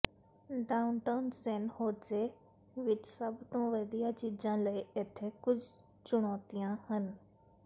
downtown San Jose ਵਿਚ ਸਭ ਤੋਂ ਵਧੀਆ ਚੀਜ਼ਾਂ ਲਈ ਇੱਥੇ ਕੁਝ ਚੁਣੌਤੀਆਂ ਹਨ